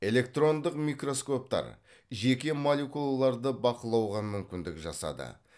электрондық микроскоптар жеке молекулаларды бақылауға мүмкіндік жасады